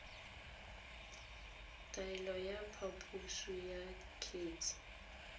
taelo ya phaposo ya kgetse